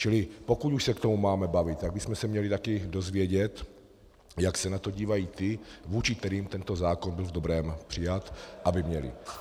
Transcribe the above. Čili pokud už se k tomu máme bavit, tak bychom se měli také dozvědět, jak se na to dívají ti, vůči kterým tento zákon byl v dobrém přijat, aby měli.